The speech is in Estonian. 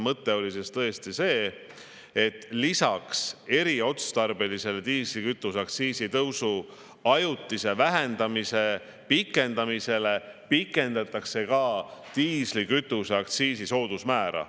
Mõte oli tõesti see, et lisaks eriotstarbelise diislikütuse aktsiisitõusu ajutise vähendamise pikendamisele pikendataks diislikütuse aktsiisi soodusmäära.